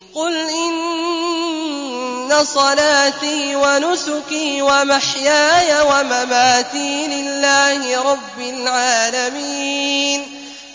قُلْ إِنَّ صَلَاتِي وَنُسُكِي وَمَحْيَايَ وَمَمَاتِي لِلَّهِ رَبِّ الْعَالَمِينَ